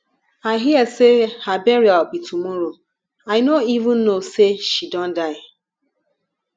i hear say her burial be tomorrow i no even know say she don die